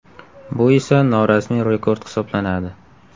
Bu esa norasmiy rekord hisoblanadi.